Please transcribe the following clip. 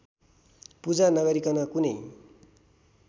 पूजा नगरीकन कुनै